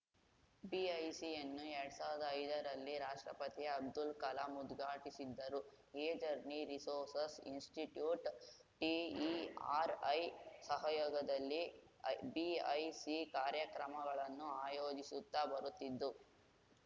ಬಿಐಸಿಯನ್ನು ಎರಡ್ ಸಾವಿರ್ದಾ ಐದರಲ್ಲಿ ರಾಷ್ಟ್ರಪತಿ ಅಬ್ದುಲ್‌ ಕಲಾಂ ಉದ್ಘಾಟಿಸಿದ್ದರು ಎಜರ್ನಿ ರಿಸೋರ್ಸಸ್‌ ಇನ್ಸ್‌ಸ್ಟಿಟ್ಯೂಟ್‌ಟಿಇಆರ್‌ಐ ಸಹಯೋಗದಲ್ಲಿ ಬಿಐಸಿ ಕಾರ್ಯಕ್ರಮಗಳನ್ನು ಆಯೋಜಿಸುತ್ತಾ ಬರುತ್ತಿದ್ದು